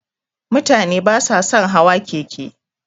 Mutane basa sun hawa keke.